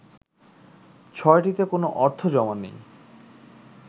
৬টিতে কোনো অর্থ জমা নেই